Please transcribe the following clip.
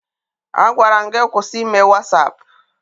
Agwara m gị kwụsị ime Wasaapụ!